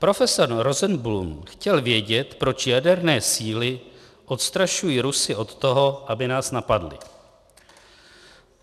Profesor Rosenblum chtěl vědět, proč jaderné síly odstrašují Rusy od toho, aby nás napadli.